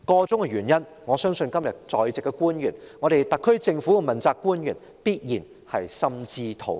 箇中原因，我相信今天在席的官員、特區政府的問責官員必然心知肚明。